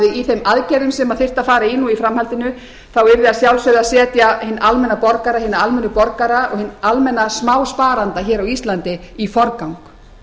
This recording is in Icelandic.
í þeim aðgerðum sem þyrfti að fara í nú í framhaldinu yrði að sjálfsögðu að setja hinn almenna borgara almenna smásparanda á íslandi í forgang